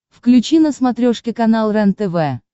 включи на смотрешке канал рентв